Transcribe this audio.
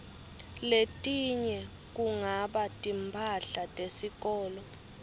letinye kungaba timphahla tesikolo